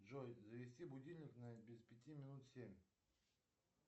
джой завести будильник на без пяти минут семь